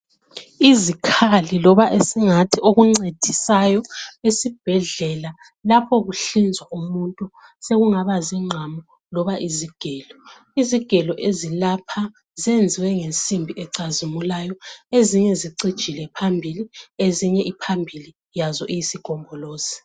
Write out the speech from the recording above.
Izikhali loba esingathi okuncedisayo esibhedlela lapho kuhlinzwa umuntu sokungaba zingqamu loba izigelo. Izigelo zalapha zenziwe ngensimbi ecazimulayo ezinye zicijile phambili ezinye iphambili yaso iyisigombolozi